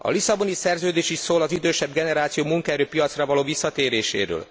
A Lisszaboni Szerződés is szól az idősebb generáció munkaerőpiacra való visszatéréséről.